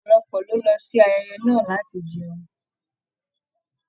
Ọpọlọpọ ló lọ sí ayẹyẹ náà láti jẹun.